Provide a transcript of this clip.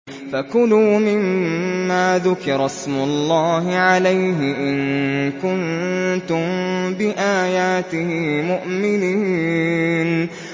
فَكُلُوا مِمَّا ذُكِرَ اسْمُ اللَّهِ عَلَيْهِ إِن كُنتُم بِآيَاتِهِ مُؤْمِنِينَ